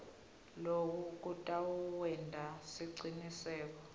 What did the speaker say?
loku kutawenta siciniseko